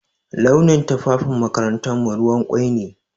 Launin tufafin makarantarmu ruwan ƙwai ne.